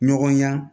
Ɲɔgɔn ya